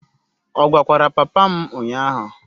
Ọ gwakwara papa m ụnyahụ?